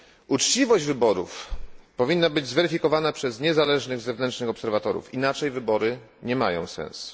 Uczciwość wyborów powinna być zweryfikowana przez niezależnych zewnętrznych obserwatorów inaczej wybory nie mają sensu.